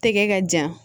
Tɛgɛ ka ja